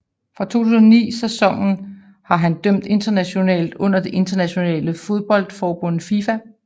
Fra 2009 sæsonen har han dømt internationalt under det internationale fodboldforbund FIFA